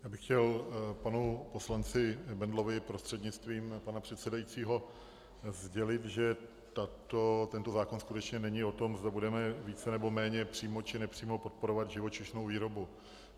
Já bych chtěl panu poslanci Bendlovi prostřednictvím pana předsedajícího sdělit, že tento zákon skutečně není o tom, zda budeme více, nebo méně, přímo, či nepřímo podporovat živočišnou výrobu.